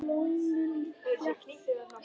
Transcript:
Blómin þétt, hvít.